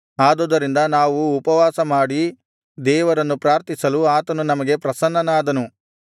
ಆದುದರಿಂದ ನಾವು ಉಪವಾಸಮಾಡಿ ದೇವರನ್ನು ಪ್ರಾರ್ಥಿಸಲು ಆತನು ನಮಗೆ ಪ್ರಸನ್ನನಾದನು